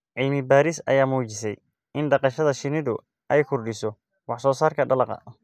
Cilmi baaris ayaa muujisay in dhaqashada shinnidu ay kordhiso wax soo saarka dalagga.